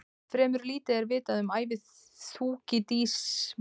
Fremur lítið er vitað um ævi Þúkýdídesar annað en það sem hann segir sjálfur.